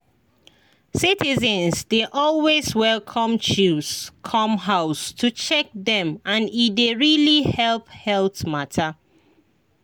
citizens dey always welcome chws come house to check dem and e dey really help health mata.